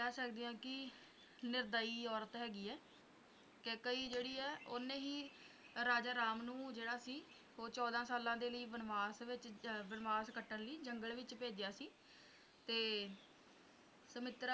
ਕਹਿ ਸਕਦੇ ਹਾਂ ਕਿ ਨਿਰਦਈ ਔਰਤ ਹੈਗੀ ਹੈ ਕੇਕਈ ਜਿਹੜੀ ਹੈ ਓਹਨੇ ਹੀ ਰਾਜਾ ਰਾਮ ਨੂੰ ਜਿਹੜਾ ਸੀ ਚੌਦਾਂ ਸਾਲਾਂ ਲਈ ਬਨਵਾਸ ਵਿੱਚ ਬਨਵਾਸ ਕੱਟਣ ਲਈ ਜੰਗਲ ਵਿੱਚ ਭੇਜਿਆ ਸੀ ਤੇ